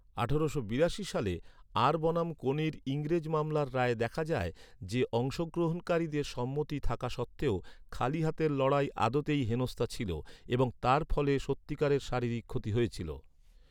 আঠারোশো বিরাশি সালে আর বনাম কোনির ইংরেজ মামলার রায়ে দেখা যায় যে, অংশগ্রহণকারীদের সম্মতি থাকা সত্ত্বেও, খালি হাতের লড়াই আদতেই হেনস্থা ছিল এবং তার ফলে সত্যিকারের শারীরিক ক্ষতি হয়েছিল।